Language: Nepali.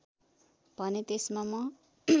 भने त्यसमा म